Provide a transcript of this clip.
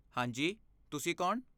ਹਾਂ ਜੀ, ਤੁਸੀਂ ਕੌਣ?